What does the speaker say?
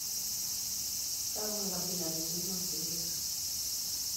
Kakwa inkabilaritin oosinkir?